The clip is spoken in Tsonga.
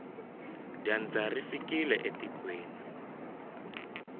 dyandza ri fikile etikweni